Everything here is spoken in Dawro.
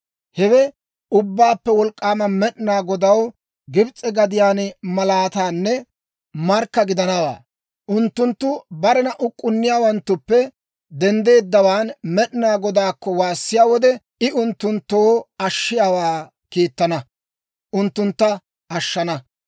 Hewe Ubbaappe Wolk'k'aama Med'inaa Godaw Gibs'e gadiyaan malaatanne markka gidanawaa; unttunttu barena uk'k'unniyaawanttuppe denddeeddawaan Med'inaa Godaakko waassiyaa wode, I unttunttoo ashshiyaawaa kiittana; unttuntta ashshana.